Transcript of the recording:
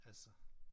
Altså